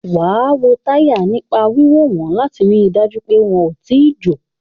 Wàá wo táyà nípa wíwò wọ́n láti rí dájú pé wọn ò tíì jò